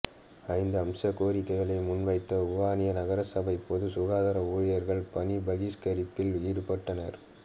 ஐந்து அம்சக் கோரிக்கைகளை முன்வைத்து வுவனியா நகரசபை பொது சுகாதார ஊழியர்கள் பணி பகிஷ்கரிப்பில் ஈடுப்பட்டனர்